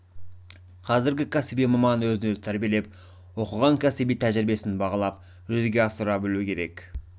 қазіргі кәсіби маман өзін-өзі тәрбиелеп оқыған кәсіби тәжірибесін бағалап жүзеге асыра білу керек